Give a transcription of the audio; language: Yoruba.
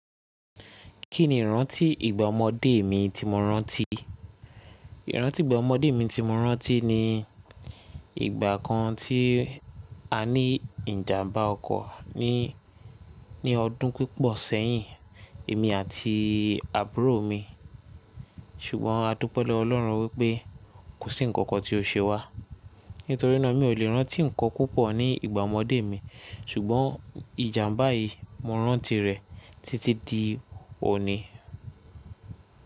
Kí ni ìrántí ìgbà ọmọdé mi tí mo rántí? Ìrántí ìgbà ọmọdé mi tí mo rántí ni ìgbà kan tí a ní ìjàmbá ọkọ̀ ní, ní ọdún pípọ̀ sẹ́yìn, èmi àti àbúrò mi. Ṣùgbọ́n adúpẹ́ lọ́wọ́ Ọlọ́run wípé kò sí ǹkankan tí ó ṣe wá. Nítorí náà mi ò lè rántí ǹkan púpọ̀ ní ìgbà ọmọdé mi. Ṣùgbọ́n ìjàmbá yìí mo rántí rẹ̀ títí di òní.